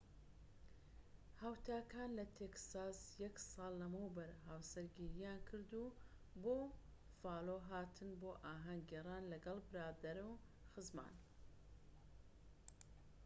هاوتاکان لە تێکساس یەک ساڵ لەمەوبەر هاوسەرگیریان کردوو و بۆ بوفالۆ هاتن بۆ ئاھەنگ گێڕان لەگەڵ برادەر و خزمان